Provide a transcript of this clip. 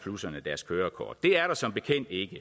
deres kørekort det er der som bekendt ikke